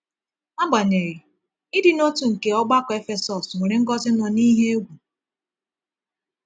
Agbanyeghị, ịdị n’otu nke ọgbakọ Efesọs nwere ngọzi nọ n’ihe egwu.